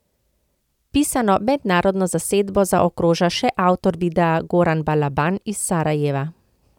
Pisano mednarodno zasedbo zaokroža še avtor videa Goran Balaban iz Sarajeva.